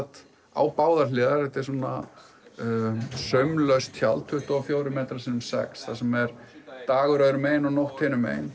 á báðar hliðar þetta er saumlaust tjald tuttugu og fjórir metrar sinnum sex þar sem er dagur öðru megin og nótt hinum megin